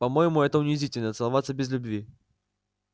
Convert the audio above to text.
по моему это унизительно целоваться без любви